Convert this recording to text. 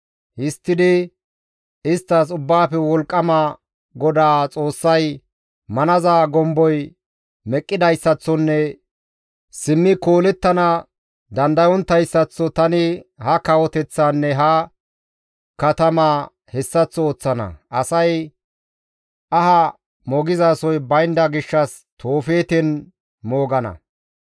Histtidi isttas Ubbaafe Wolqqama GODAA Xoossay, ‹Manaza gomboy meqqidayssaththonne simmi koolettana dandayonttayssaththo tani ha kawoteththaanne ha katamaa hessaththo ooththana; asay aha moogizasoy baynda gishshas Toofeeten moogana.